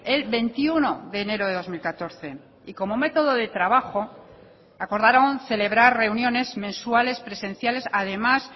el veintiuno de enero de dos mil catorce y como método de trabajo acordaron celebrar reuniones mensuales presenciales además